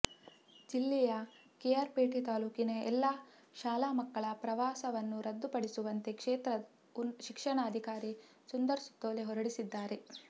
ಜಿಲ್ಲೆಯ ಕೆಆರ್ ಪೇಟೆ ತಾಲೂಕಿನ ಎಲ್ಲ ಶಾಲಾ ಮಕ್ಕಳ ಪ್ರವಾಸವನ್ನೂ ರದ್ದುಪಡಿಸುವಂತೆ ಕ್ಷೇತ್ರ ಶಿಕ್ಷಣ ಅಧಿಕಾರಿ ಸುಂದರ್ ಸುತ್ತೋಲೆ ಹೊರಡಿಸಿದ್ದಾರೆ